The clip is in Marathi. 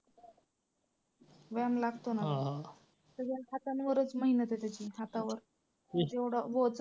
व्यायाम लागतो ना सगळं हातांवरच मेहनत आहे त्याची हातावर म्हणजे एवढं ओझं.